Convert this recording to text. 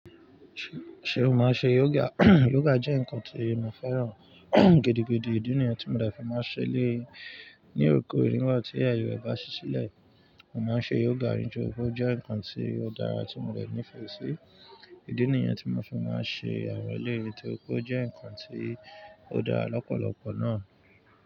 Ṣe o máa ń ṣe yoga? Yoga jẹ ǹkan tí mo fẹ́ràn gidigidi. Ìdí nìyẹn tí mo dẹ̀ fi má ń ṣe le ní oko, nígbàtí ayé rẹ̀ bá ṣí sílẹ̀. Mo má ń ṣe yoga rinjoro, ó jẹ ǹkan tí ó dára tí mo dẹ̀ nífẹ̀ sí. Ìdí nìyẹn tí mo fi má ń ṣe àwọn eleyi, torí pé ó jẹ ǹkan tí ó dára lọpọlọpọ náà.